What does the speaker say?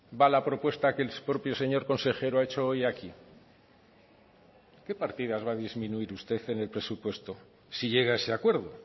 va la propuesta que el propio señor consejero ha hecho hoy aquí qué partidas va a disminuir usted en el presupuesto si llega a ese acuerdo